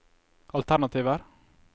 alternativer